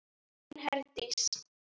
Þín Herdís.